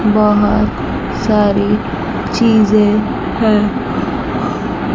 बहोत सारी चीजे हैं।